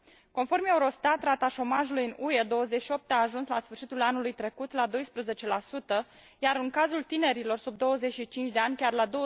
Conform Eurostat, rata șomajului în UE 28 a ajuns la sfârșitul anului trecut la 12, iar în cazul tinerilor sub 25 de ani chiar la